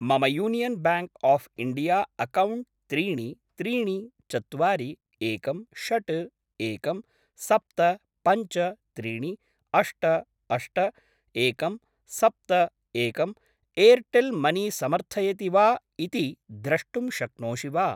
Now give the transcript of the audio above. मम यूनियन् ब्याङ्क् आफ् इण्डिया अक्कौण्ट् त्रीणि त्रीणि चत्वारि एकं षड् एकं सप्त पञ्च त्रीणि अष्ट अष्ट एकं सप्त एकं एर्टेल् मनी समर्थयति वा इति द्रष्टुं शक्नोषि वा?